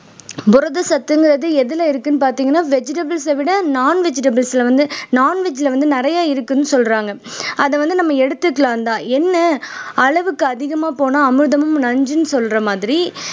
புரத சத்துங்கிறது எதுல இருக்குன்னு பார்த்தீங்கன்னா vegetables அ விட non vegetables ல வந்து non veg ல வந்து நிறைய இருக்குன்னு சொல்றாங்க அதை வந்து நம்ம எடுத்துக்கலாம்தான் என்ன அளவுக்கு அதிகமா போனா அமிர்தமும் நஞ்சுன்னு சொல்ற மாதிரி